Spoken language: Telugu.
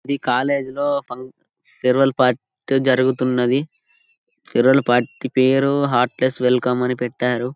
ఈ కాలేజీ లో ఫం ఫేర్వెల్ పార్టీ జరుగుతున్నది. ఫేర్వెల్ పార్టీ పేరు హార్ట్ లెస్ వెల్కమ్ అన్ని పెట్టారు.